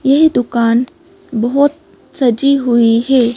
यह दुकान बहुत सजी हुई है।